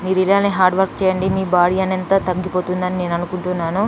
మీరు ఇలానే hard work చేయండి మీ బాడీ అని ఎంత తగ్గిపోతుందని నేను అనుకుంటున్నాను.